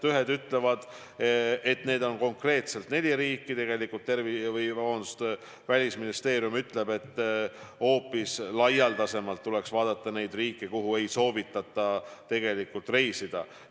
Ühed ütlevad, et need on konkreetselt neli riiki, Välisministeerium aga ütleb, et hoopis laialdasemalt tuleks vaadata neid riike, kuhu ei soovitata reisida.